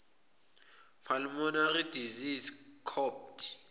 pulmonary disease copd